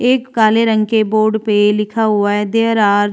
एक काले रंग के बोर्ड पे लिखा हुआ है देयर आर --